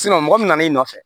mɔgɔ min nan'i nɔfɛ